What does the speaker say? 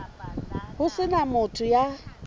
ho se na motho ya